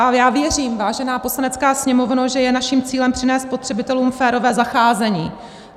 A já věřím, vážená Poslanecká sněmovno, že je naším cílem přinést spotřebitelům férové zacházení.